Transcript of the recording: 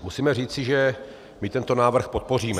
Musíme říci, že my tento návrh podpoříme.